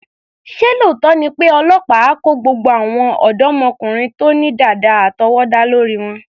Ṣé lóòótọ́ ni pé àwọn ọlọ́pàá á kó gbogbo àwọn ọ̀dọ́mọkùnrin tó ní dàda àtọwọ́dá lórí wọn?